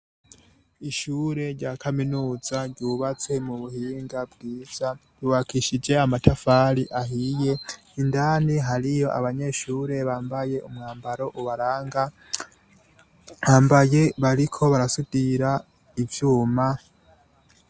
Ishure rya kaminuza ryubatswe mu buhinga bwiza, yubakishije amatafari ahiye, indani hariyo abanyeshure bambaye umwambaro ubaranga, bambaye bariko barasudira ivyuma.